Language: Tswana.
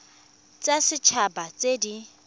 tsa set haba tse di